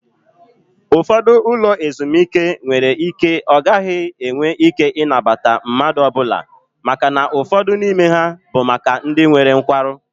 Ụfọdụ ụlọ ezumike nwere ike ọ gaghị enwe ike ịnabata mmadụ ọbụla màkà na ụfọdụ n'ime ha bụ maka ndị nwere nkwarụ